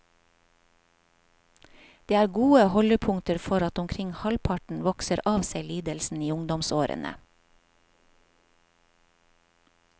Det er gode holdepunkter for at omkring halvparten vokser av seg lidelsen i ungdomsårene.